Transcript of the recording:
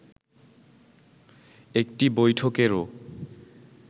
একটি বৈঠকেরও